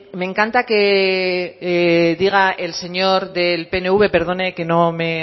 me encanta que diga el señor del pnv perdone que no me